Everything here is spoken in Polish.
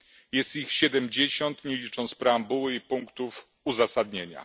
Jest ich 70, nie licząc preambuły i punktów uzasadnienia.